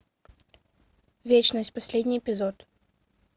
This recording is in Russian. вечность последний эпизод